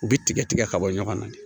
U bɛ tigɛ tigɛ ka bɔ ɲɔgɔn na de